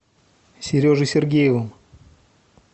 сережей сергеевым